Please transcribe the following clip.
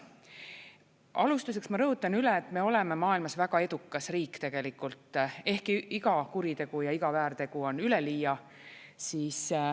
Alustuseks ma rõhutan üle, et me oleme maailmas väga edukas riik tegelikult, ehkki iga kuritegu ja iga väärtegu on üleliia.